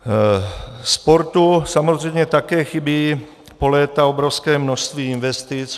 Sportu samozřejmě také chybí po léta obrovské množství investic.